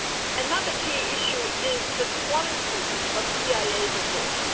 Another key issue is the quality of EIA reports.